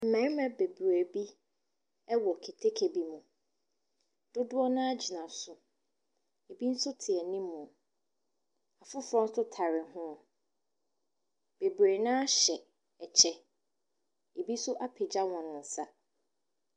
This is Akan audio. Mmɛɛma bebree bi ɛwɔ keteke bi mu. Dodoɔ naa gyina so. Ɛbi nso te animoo. Afoforɔ nso tare hoo. Bebree naa hyɛ ɛkyɛ. Ɛbi so apagya wɔn nsa.